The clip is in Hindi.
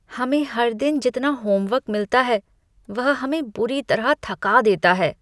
हमें हर दिन जितना होमवर्क मिलता है, वह हमें बुरी तरह थका देता है।